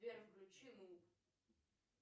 сбер включи нуб